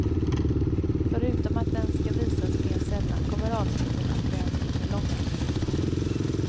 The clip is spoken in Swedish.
Förutom att den ska visas mer sällan kommer avsnitten att bli en timme långa.